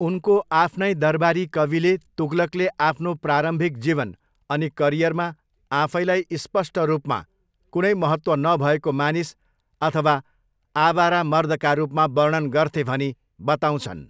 उनको आफ्नै दरबारी कविले तुगलकले आफ्नो प्रारम्भिक जीवन अनि करियरमा आफैलाई स्पष्ट रूपमा कुनै महत्त्व नभएको मानिस अथवा 'आवारा मर्द'का रूपमा वर्णन गर्थे भनी बताउँछन्।